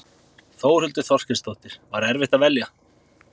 Þórhildur Þorkelsdóttir: Var erfitt að velja?